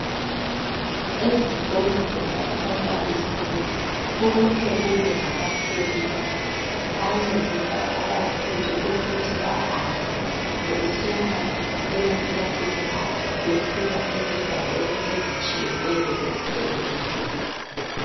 Ezikolo zema primary school kumele kube lama pavements ancedisa abafundi ukuthi bahambe besuka emakilasini abo besiya endaweni ezitshiyeneyo esikolo.